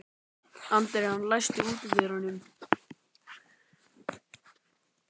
Adrian, læstu útidyrunum.